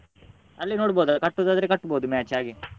ಅಲ್ಲಿ ನೋಡ್ಬೋದು ಕಟ್ಟುದಾದ್ರೆ ಕಟ್ಟ್ಬೋದು match ಹಾಗೆ.